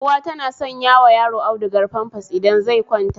Uwa tana sanyawa yaro audugar famfas idan zai kwanta